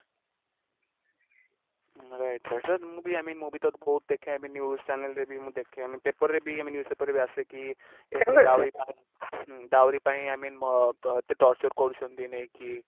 right right ମୁ ବି i mean ମୁ ବି ତ ବହୁତ ଦେଖେ ଇ mean news channel ରେ ବି ଦେଖେ i mean paper ରେ ବି ଆସେ କି ହୁଁ dowry ପାଇଁ i mean ଅ ଅ ଏତେ Torture କରୁଛନ୍ତି ନେଇକି